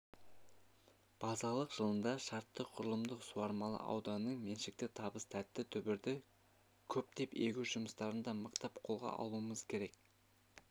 базалық жылында шартты құрылымдық суармалы ауданның меншікті табыс тәтті түбірді көптеп егу жұмыстарын да мықтап қолға алуымыз керек